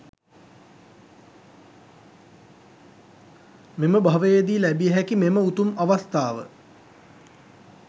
මෙම භවයේදී ලැබිය හැකි මෙම උතුම් අවස්ථාව,